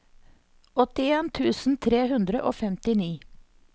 åttien tusen tre hundre og femtini